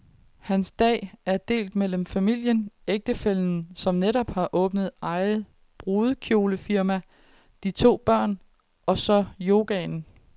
Hans dag er delt mellem familien, ægtefællen som netop har åbnet eget brudekjolefirma, de to børn, og så yogaen.